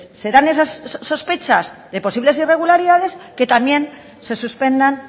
se dan esas sospechas de posibles irregularidades que también se suspendan